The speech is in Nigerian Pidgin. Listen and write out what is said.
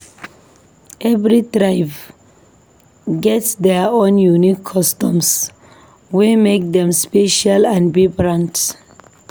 Every tribe get their own unique customs wey make dem special and vibrant.